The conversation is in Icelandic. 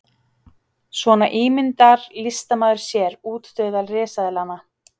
Svona ímyndar listamaður sér útdauða risaeðlanna.